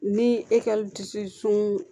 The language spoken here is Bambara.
Ni ekɔliso sun